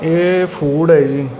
ਯੇ ਫੂਡ ਹੈ ਜੀ।